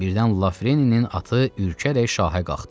Birdən Lafreninin atı ürkəcək şaha qalxdı.